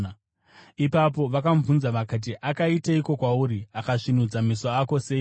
Ipapo vakamubvunza vakati, “Akaiteiko kwauri? Akasvinudza meso ako seiko?”